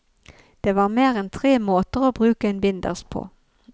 Det er mer en tre måter å bruke en binders på.